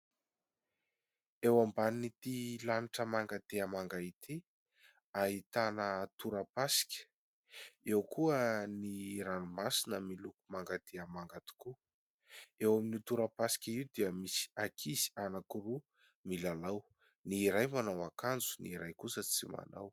Eo ambanin'ity lanitra manga dia manga ity, ahitana torapasika. Eo koa ny ranomasina miloko manga dia manga tokoa, eo amin'io torapasika io dia misy ankizy anankiroa milalao ; ny iray manao akanjo ny iray kosa tsy manao.